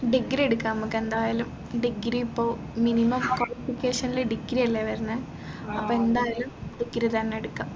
A degree എടുക്കാം നമ്മുക്ക് എന്തായാലും degree ഇപ്പോ minimum qualification ൽ degree അല്ലെ വരുന്നേ അപ്പോ എന്തായാലും degree തന്നെ എടുക്കാം